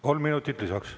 Kolm minutit lisaks.